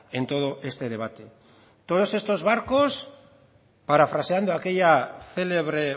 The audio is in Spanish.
en todo este debate todos estos barcos parafraseando aquella célebre